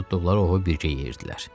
Tutduqları ovu bircə yeyirdilər.